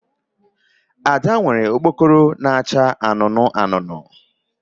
Ada nwere okpokoro na-acha anụnụ anụnụ